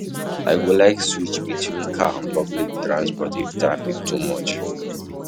I go like switch between car and public transport if traffic too much.